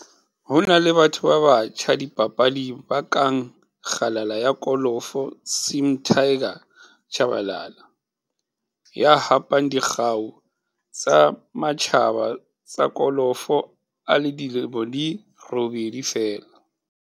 Ho na le batho ba batjha dipapading ba kang kgalala ya kolofo Sim Tiger Tshabalala, ya hapang dikgau tsa matjhaba tsa kolofo a le dilemo di robedi feela.